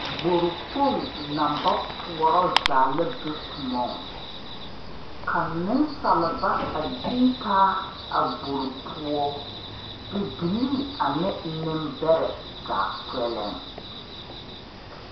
gbor kpong na ba puoro zaa la be koɔŋ ka nesaaleba a deetaa a gbor poʊ bibilii ane nembare zaa kpɛleŋ